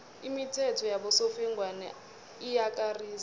imithetho yabosofengwana iyakarisa